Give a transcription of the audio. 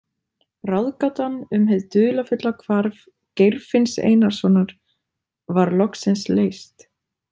Ráðgátan um hið dularfulla hvarf Geirfinns Einarssonar var loksins leyst.